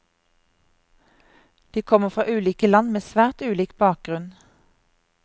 De kommer fra ulike land med svært ulik bakgrunn.